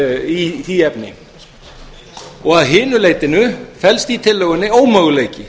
í því efni að hinu leytinu felst í tillögunni ómöguleiki